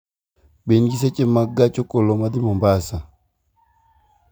Be in gi seche mag gach okoloma dhi mombasa